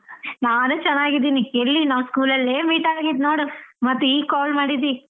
ನಾನೂ ಚೆನ್ನಾಗಿದ್ದೀನಿ ಎಲ್ಲಿ ನಾವ್ school ಅಲ್ಲೇ meet ಆಗಿದ್ದು ನೋಡು ಮತ್ತ್ ಈಗ Call ಮಾಡಿದ್ದಿ.